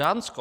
Dánsko.